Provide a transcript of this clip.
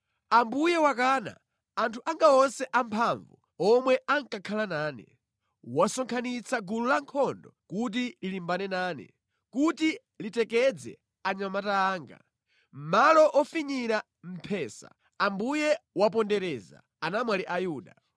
“Ambuye wakana anthu anga onse amphamvu omwe ankakhala nane: wasonkhanitsa gulu lankhondo kuti lilimbane nane, kuti litekedze anyamata anga; mʼmalo ofinyira mphesa Ambuye wapondereza anamwali a Yuda.